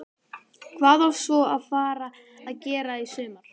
Hvað á svo að fara að gera í sumar?